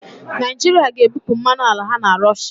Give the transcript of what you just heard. Naịjirịa ga-ebupụ mmanụ ala ha na Rọshịa